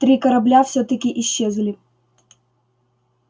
три корабля всё-таки исчезли